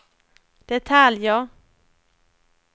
detaljer